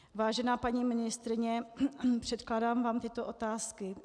Vážená paní ministryně, předkládám vám tyto otázky.